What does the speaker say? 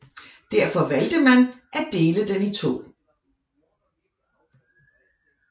Derfor valgte man at dele den i to